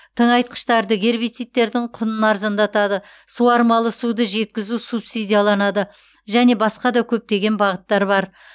тыңайтқыштардың гербицидтердің құнын арзандатады суармалы суді жеткізу субсидияланады және басқа да көптеген бағыттар бар